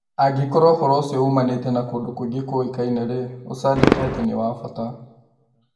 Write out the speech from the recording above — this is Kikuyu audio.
angĩkorũo ũhoro ũcio uumanĩte na kũndũ kũngĩ kũĩkaine-rĩ, ũcandĩke atĩ nĩ wa bata